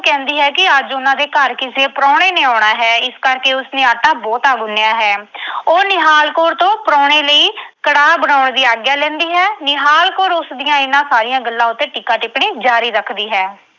ਕਹਿੰਦੀ ਹੈ ਕਿ ਅੱਜ ਉਨ੍ਹਾਂ ਦੇ ਘਰ ਕਿਸੇ ਪ੍ਰਾਹੁਣੇ ਨੇ ਆਉਣਾ ਹੈ। ਇਸ ਕਰਕੇ ਉਸਨੇ ਆਟਾ ਬਹੁਤਾ ਗੁੰਨ੍ਹਿਆ ਹੈ। ਉਹ ਨਿਹਾਲ ਕੌਰ ਤੋਂ ਪ੍ਰਾਹੁਣੇ ਲਈ ਕੜਾਹ ਬਣਾਉਣ ਦੀ ਆਗਿਆ ਲੈਂਦੀ ਹੈ। ਨਿਹਾਲ ਕੌਰ ਉਸਦੀਆਂ ਇਨ੍ਹਾਂ ਸਾਰੀਆਂ ਗੱਲਾਂ ਉੱਤੇ ਟੀਕਾ-ਟਿੱਪਣੀ ਜਾਰੀ ਰੱਖਦੀ ਹੈ।